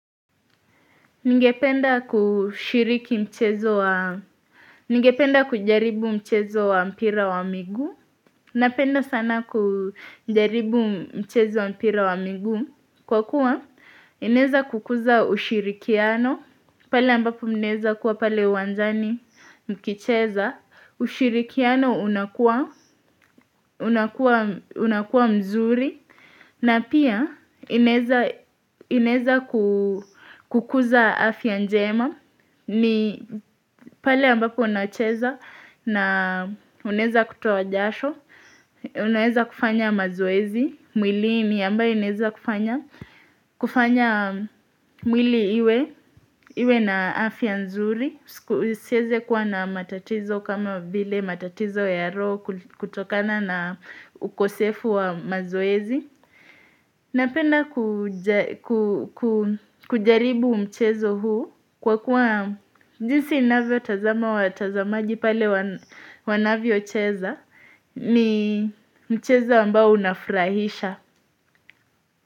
Ningependa kushiriki mchezo wa Ningependa kujaribu mchezo wa mpira wa miguu. Napenda sana kujaribu mchezo wa mpira wa miguu. Kwa kuwa, inaeza kukuza ushirikiano. Pale ambapo mnaeza kuwa pale uwanjani mkicheza. Ushirikiano unakuwa mzuri. Na pia, inaeza kukuza afya njema. Ni pale ambapo unacheza na unaeza kutoa jasho, unaeza kufanya mazoezi, mwilini ambayo inaeza kufanya, kufanya mwili iwe, iwe na afya nzuri, uiseze kuwa na matatizo kama vile matatizo ya roo kutokana na ukosefu wa mazoezi. Napenda kujaribu mchezo huu kwa kuwa jinsi navyotazama watazamaji pale wanavyocheza ni mchezo ambao unafrahisha.